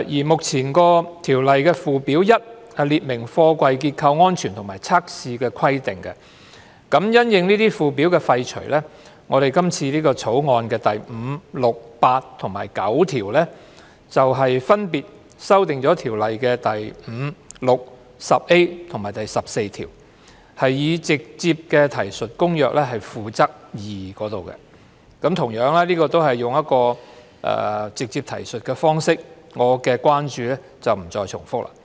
目前《條例》附表1列明貨櫃結構安全和測試的規定，因應這個附表的廢除，《條例草案》第5、6、8和9條分別修訂《條例》第5、6、10A 和14條，以直接提述《公約》《附則 II》，這個同樣涉及使用直接提述方式，所以我不再重複我的關注。